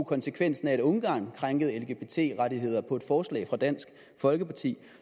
konsekvensen af at ungarn krænkede lgbt rettigheder på et forslag fra dansk folkeparti